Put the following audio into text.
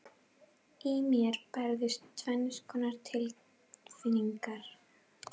Í mér bærðust tvenns konar tilfinningar.